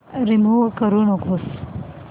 remove करू नको